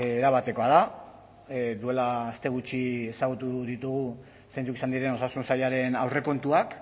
erabatekoa da duela aste gutxi ezagutu ditugu zein izan diren osasun sailaren aurrekontuak